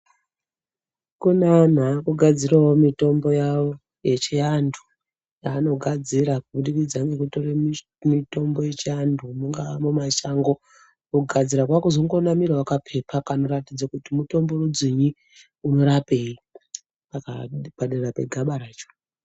Kune anhu aakugadzirawo mitombo yavo yechiantu, yaanogadzira kubudikidza ngekutore mitombo yechiantu ,mungaa mumashango, kugadzira kwaakunamirawo kaphepha kanoratidze kuti mutombo rudzii, unorapei, pakaa padera pegaba racho.